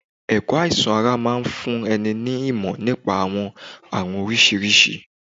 Ẹ̀kọ́ àìsàn ara máa ń fún ẹni ní ìmọ̀ nípa àwọn àrùn oríṣiríṣi.